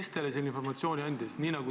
Kes teile selle informatsiooni andis?